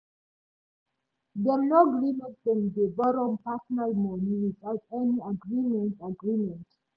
dem no gree make dem dey borrow personal money without any agreement agreement